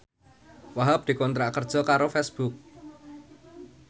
Wahhab dikontrak kerja karo Facebook